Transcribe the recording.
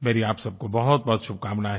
मेरी आप सब को बहुतबहुत शुभकामनाएँ